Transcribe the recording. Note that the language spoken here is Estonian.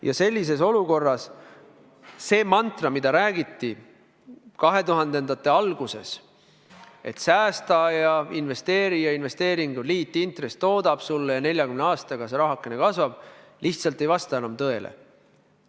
Ja sellises olukorras see mantra, mida korrati 2000-ndate alguses, et säästa ja investeeri ja investeerimisel liitintress toodab sulle raha ja 40 aastaga see rahakene kasvab, lihtsalt ei vasta enam tõele.